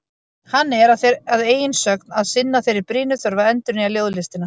Hann er, að eigin sögn, að sinna þeirri brýnu þörf að endurnýja ljóðlistina.